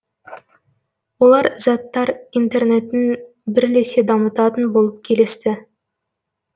олар заттар интернетін бірлесе дамытатын болып келісті